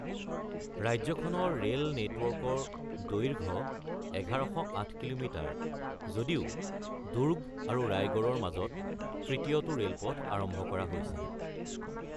ৰাজ্যখনৰ ৰে’ল নেটৱৰ্কৰ দৈৰ্ঘ্য ১১০৮ কিলোমিটাৰ, যদিও দুৰ্গ আৰু ৰায়গড়ৰ মাজত তৃতীয়টো ৰে'লপথ আৰম্ভ কৰা হৈছে।